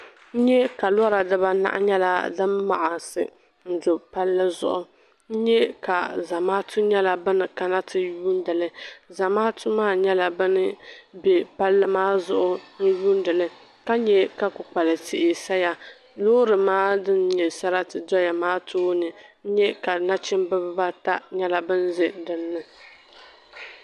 N nyɛ ka lora dibanahi nyɛla din maɣasi n do palli zuɣu n nyɛ ka zamaatu nyɛla bin kana ti yuundili zamaatu maa nyɛla bin bɛ palli maa zuɣu yuundili ka nyɛ ka kpukpali tihi saya loori maa din nyɛ sarati maa tooni n nyɛ ka nachimbi bibata nyɛla bin ʒɛ dinni